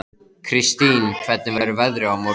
Kristine, hvernig verður veðrið á morgun?